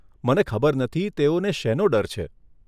મને ખબર નથી તેઓને શેનો ડર છે?